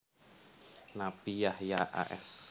Nabi Yahya a s